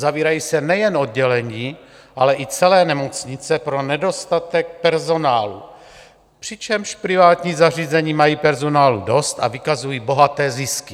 Zavírají se nejen oddělení, ale i celé nemocnice pro nedostatek personálu, přičemž privátní zařízení mají personálu dost a vykazují bohaté zisky.